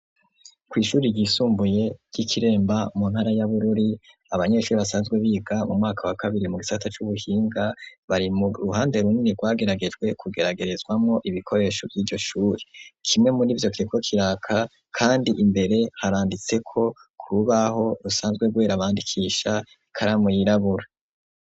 Kw'ishuri ryisumbuye ry'ikiremba mu ntara y'abururi abanyeshuri basanzwe biga mu mwaka wa kabiri mu gitsata c'ubuhinga bari mu ruhande runini rwageragejwe kugeragerezwamwo ibikoresho vy'iryoshuri kimwe muri ivyo keko kiraka, kandi imbere haranditseko ku rubaho rusanzwe rwera bandikisha paramu yirabura.